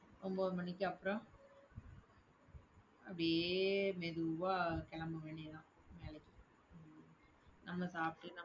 ஒன்பது மணிக்கு அப்புறம், அப்படியே மெதுவா கிளம்ப வேண்டியது தான் வேலைக்கு நம்ம சாப்பிட்டு